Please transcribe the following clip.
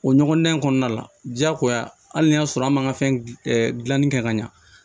O ɲɔgɔndan in kɔnɔna la diyagoya hali n'a y'a sɔrɔ an man ka fɛn dilanni kɛ ka ɲa